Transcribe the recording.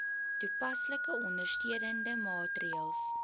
toepaslike ondersteunende maatreëls